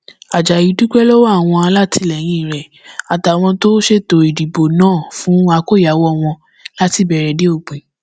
ajayi dúpẹ lọwọ àwọn alátìlẹyìn rẹ àtàwọn tó ṣètò ìdìbò náà fún àkọyàwó wọn láti ìbẹrẹ dé òpin